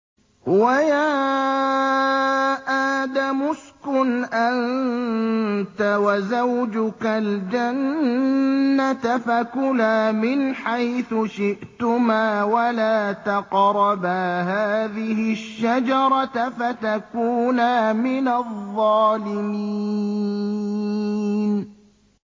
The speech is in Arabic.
وَيَا آدَمُ اسْكُنْ أَنتَ وَزَوْجُكَ الْجَنَّةَ فَكُلَا مِنْ حَيْثُ شِئْتُمَا وَلَا تَقْرَبَا هَٰذِهِ الشَّجَرَةَ فَتَكُونَا مِنَ الظَّالِمِينَ